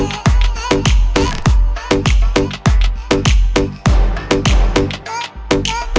так